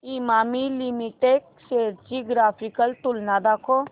Emami limited shares ची graphical तुलना दाखव